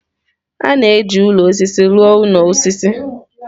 A na-eji osisi rụọ ụlọ osisi.